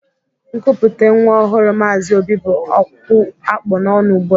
Nkupute nwa ọhụrụ Mazi Obi bụ okwu akpu n'ọnụ ụgbụa